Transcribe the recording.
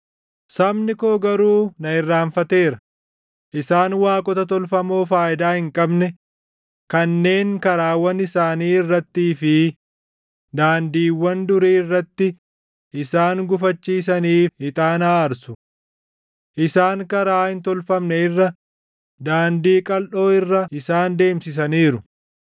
Sabni koo garuu na irraanfateera; isaan waaqota tolfamoo faayidaa hin qabne kanneen karaawwan isaanii irrattii fi daandiiwwan durii irratti isaan gufachiisaniif // ixaana aarsu. Isaan karaa hin tolfamne irra daandii qalʼoo irra isaan deemsisaniiru.